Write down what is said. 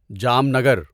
Jamnagar